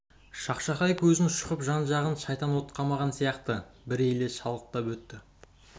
шақшақай көзін шұқып жан-жағын шайтан от қамаған сияқты бір елес шалықтап өтті